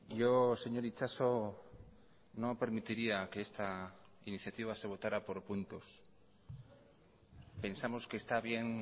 yo señor itxaso no permitiría que esta iniciativa se votará por puntos pensamos que está bien